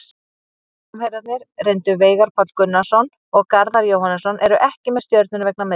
Framherjarnir reyndu Veigar Páll Gunnarsson og Garðar Jóhannsson eru ekki með Stjörnunni vegna meiðsla.